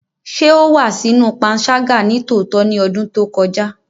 Ṣe o wa sinu panṣaga nitootọ ni ọdun to kọja?